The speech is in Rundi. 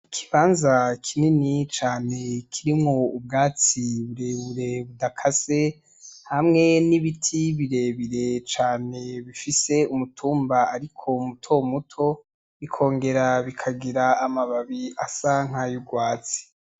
Ikibanza kinini cane kirimwo ubwatsi burebure budakase hamwe n'ibiti birebire cane bifise umutumba ariko mutomuto bikongera bikagira amababi asa nkay'urwatsi.